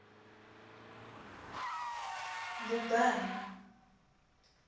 mbubana